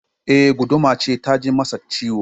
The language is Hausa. Eh, guduma ce ta ji masa ciwo